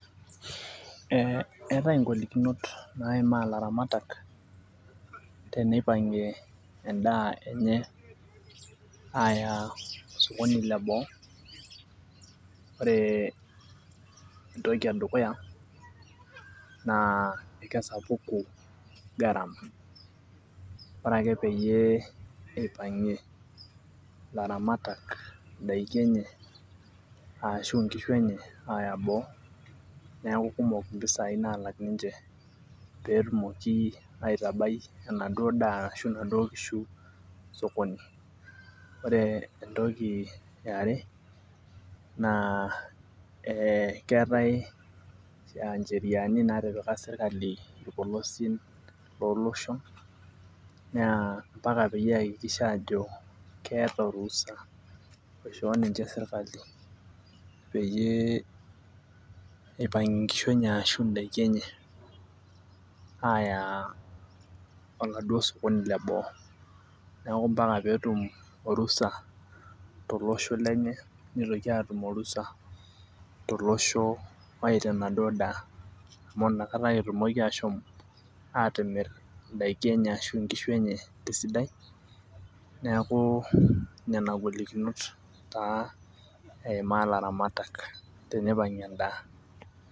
Ee eetae ngolikinot naimaa laramatak tenipangie endaa enye aya osokoni leboo ore entoki edukuya nakesapuki garama ore ake peipangie laramatak endaa enye ashu nkishu enye neaku kekumok mpisai nalak ninche petumokibaitabae enaduo daa ashu nkishu osokoni ore entoki eare na keetae cheriani natipika serkali loshon na ambaka peaku keata orusa oishoo ninche serkali peyie ipangie ngishu enye ashu ndakini enye aya osokoni leil boo neaku ambaka netum orusa tolosho lenye nitoki atumborusa toloshu logira aya enaduo daa amu nakata etumoki atimir ndakin enye tesidai neanu nona golikinot taa eimaa laramatak teneipangie endaa.